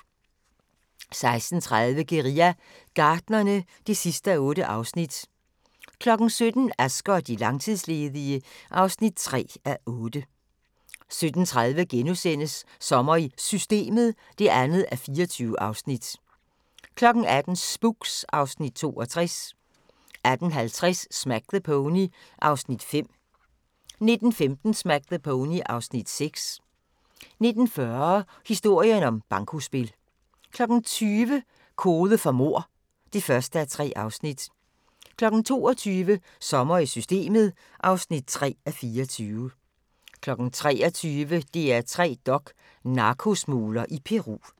16:30: Guerilla Gartnerne (8:8) 17:00: Asger og de langtidsledige (3:8) 17:30: Sommer i Systemet (2:24)* 18:00: Spooks (Afs. 62) 18:50: Smack the Pony (Afs. 5) 19:15: Smack the Pony (Afs. 6) 19:40: Historien om bankospil 20:00: Kode for mord (1:3) 22:00: Sommer i Systemet (3:24) 23:00: DR3 Dok: Narkosmugler i Peru